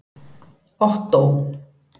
Ottó